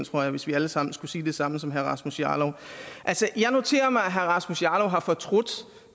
tror jeg hvis vi alle sammen skulle sige det samme som herre rasmus jarlov altså jeg noterer mig at herre rasmus jarlov har fortrudt